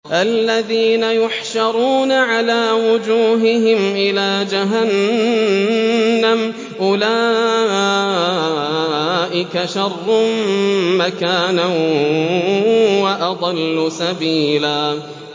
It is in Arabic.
الَّذِينَ يُحْشَرُونَ عَلَىٰ وُجُوهِهِمْ إِلَىٰ جَهَنَّمَ أُولَٰئِكَ شَرٌّ مَّكَانًا وَأَضَلُّ سَبِيلًا